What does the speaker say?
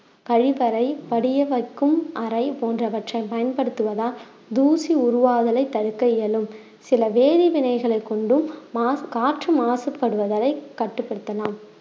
கழிவறை படிய வைக்கும் அறை போன்றவற்றை பயன்படுத்துவதால் தூசி உருவாதலை தடுக்க இயலும் சில வேதி வினைகளைக் கொண்டும் மாசு~ காற்று மாசுபடுவதலை கட்டுப்படுத்தலாம்